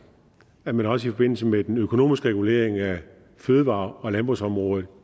at man også i forbindelse med den økonomiske regulering af fødevare og landbrugsområdet